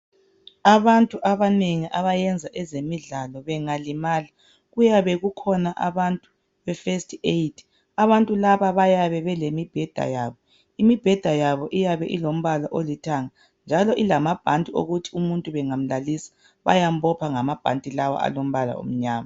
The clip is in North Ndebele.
Abantu abanengi abayenza ezemidlalo bengalimala kuyabe kukhona abantu abefirst aid. Abantu laba bayabe belemibheda yabo. Imibheda yabo iyabe ilombala olithanga njalo ilamabhanti okuthi umuntu bangamlalisa bayambopha ngamabhanti lawa alombala omnyama.